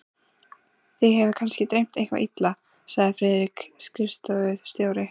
Þig hefur kannski dreymt eitthvað illa, sagði Friðrik skrifstofustjóri.